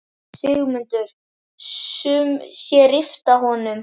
Sigmundur: Sum sé rifta honum?